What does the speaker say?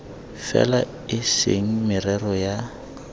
fela e se merero ya